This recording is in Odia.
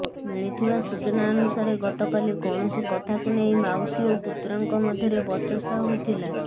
ମିଳିଥିବା ସୂଚନା ଅନୁସାରେ ଗତକାଲି କୌଣସି କଥାକୁ ନେଇ ମାଉସୀ ଓ ପୁତୁରାଙ୍କ ମଧ୍ୟରେ ବଚସା ହୋଇଥିଲା